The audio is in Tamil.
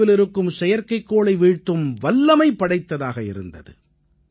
தொலைவிலிருக்கும் செயற்கைக் கோளை வீழ்த்தும் வல்லமை படைத்ததாக இருந்தது